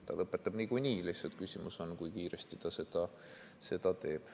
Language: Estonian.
Ta lõpetab niikuinii, lihtsalt küsimus on, kui kiiresti ta seda teeb.